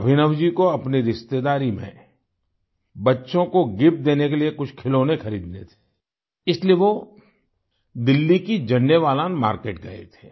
अभिनव जी को अपनी रिश्तेदारी में बच्चों को गिफ्ट देने के लिए कुछ खिलौने खरीदने थे इसलिए वो दिल्ली की झंडेवालान मार्किट गए थे